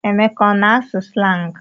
Emeka ọ na-asụ slangị?